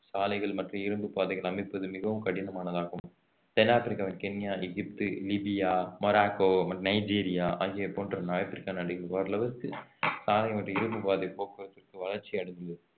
சாலைகள் மற்றும் இரும்புப் பாதைகள் அமைப்பது மிகவும் கடினமானதாகும் தென் ஆப்பிரிக்காவின் கென்யா, எகிப்து, லிபியா, மொராக்கோ மற்றும் நைஜீரியா ஆகிய போன்ற ஆப்பிரிக்கா நாடுகளுக்கு ஓரளவுக்கு சாலை மற்றும் இரும்புப் பாதை போக்குவரத்துக்கு வளர்ச்சி அடைந்துள்ளது